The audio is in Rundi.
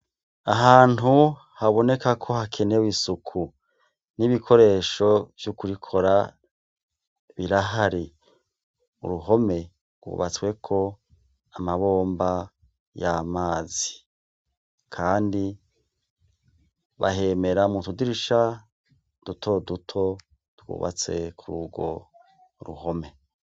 Ahantu haboneka ko hakenewe isuku n'ibikoresho vy'ukurikora birahari uruhome wubatsweko amabomba y'amazi, kandi bahemera mu tudirisha dutoduto twubatse kur urwo ruhome.